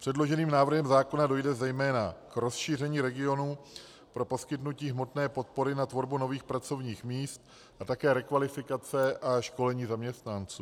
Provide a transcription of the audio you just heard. Předloženým návrhem zákona dojde zejména k rozšíření regionů pro poskytnutí hmotné podpory na tvorbu nových pracovních míst a také rekvalifikace a školení zaměstnanců.